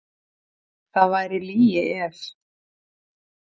Það væri lygi ef.